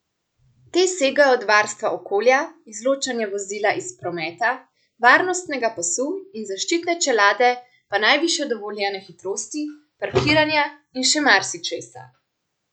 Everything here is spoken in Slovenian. Te segajo od varstva okolja, izločanja vozila iz prometa, varnostnega pasu in zaščitne čelade pa najvišje dovoljene hitrosti, parkiranja in še marsičesa.